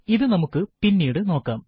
ഇത് നമുക്ക് പിന്നീട് നോക്കാം